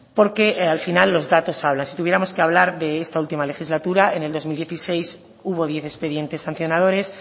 porque al final los datos hablan si tuviéramos que hablar de esta última legislatura en el dos mil dieciséis hubo diez expedientes sancionadores